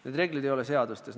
Neid reegleid ei ole seadustes!